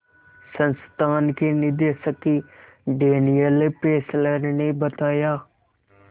संस्थान के निदेशक डैनियल फेस्लर ने बताया